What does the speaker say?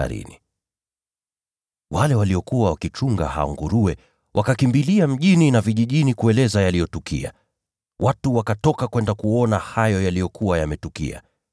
Wale watu waliokuwa wakichunga hao nguruwe wakakimbilia mjini na vijijini kueleza yaliyotukia. Watu wakatoka kwenda kuona hayo yaliyokuwa yametukia.